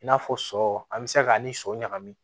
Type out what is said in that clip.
I n'a fɔ sɔ an bɛ se k'a ni sɔ ɲagami